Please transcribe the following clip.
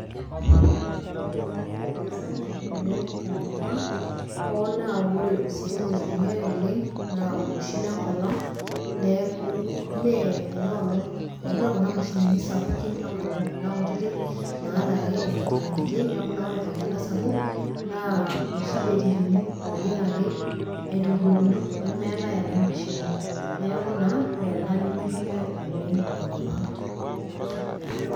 ore ena siia neme sapuk oleng tenkop ang .hoo naa ore ositima oitumiae oleng. naa oloshi lenkolong' neeku, mme ena olong'; ime kuna mashinini sapukin enkolong' kuna kutiti naalaki, enkiti enkiti. neku naa ore tenkata sapuk, naa iloshi betirini oojing ake, aitoriokino, nemeetae ena mashini. neku naa ore ena nimituiae oleng tenkop ang'.